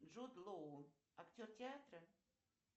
джуд лоу актер театра